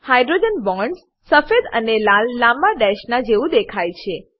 hydrogen bonds સફેદ અને લાલ લાંબા ડેશેસ ના જેવું દેખાય છે